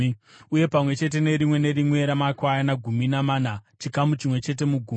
uye pamwe chete nerimwe nerimwe ramakwayana gumi namana, chikamu chimwe chete mugumi.